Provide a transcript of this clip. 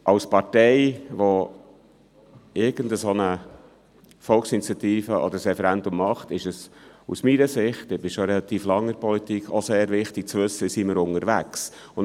Als Partei, die eine Volksinitiative oder ein Referendum durchführt, ist es aus meiner Sicht – und ich bin schon relativ lange in der Politik – wichtig zu wissen, wie man unterwegs ist.